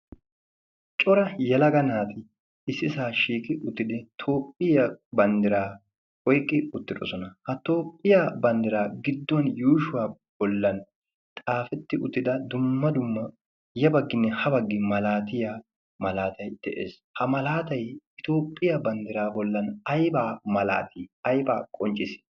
cora yalaga naati issi saa shiiki uttidi toophphiya banddiraa oyqqi uttidosona. ha toophphiyaa banddiraa giddon yuushuwaa bollan xaafetti uttida dumma dumma yabagginne ha baggi malaatiya malaatay de'ees. ha malaatay itoophphiyaa banddiraa bollan aibaa malaatii aibaa qonccii?